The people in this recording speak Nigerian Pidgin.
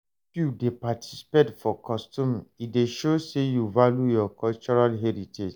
If you dey participate for custom, e dey show sey you value your cultural heritage.